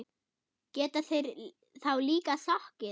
Geta þeir þá líka sokkið.